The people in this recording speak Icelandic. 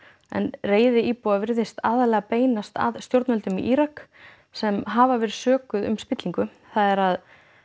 reiði íbúa virðist aðallega beinast að stjórnvöldum í Írak sem hafa verið sökuð um spillingu það er að